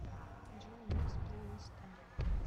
джой микс плейлиста